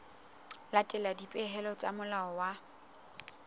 latela dipehelo tsa molao wa